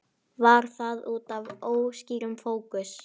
Var það útaf óskýrum fókus?